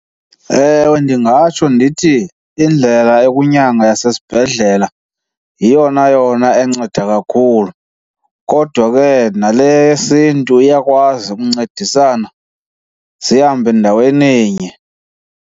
Ewe, ndingatsho ndithi indlela yokunyanga yasesibhedlela yeyona yona enceda kakhulu. Kodwa ke nale yesiNtu iyakwazi ukuncedisana, zihambe ndaweninye.